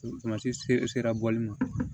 sera bɔli ma